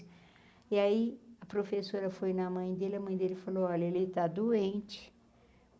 E aí, a professora foi na mãe dele, a mãe dele falou, olha, ele está doente.